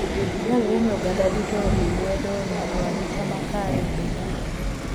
Dwarore ni oganda duto oriw lwedo e miyo arita makare obedie.